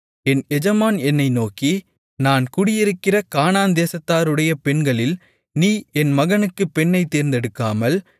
என் எஜமான் என்னை நோக்கி நான் குடியிருக்கிற கானான் தேசத்தாருடைய பெண்களில் நீ என் மகனுக்குப் பெண்ணைத் தேர்ந்தெடுக்காமல்